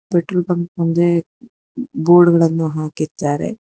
Petrol pump ಮುಂದೆ board ಗಳನ್ನು ಹಾಕಿದ್ದಾರೆ.